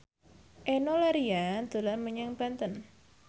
Enno Lerian dolan menyang Banten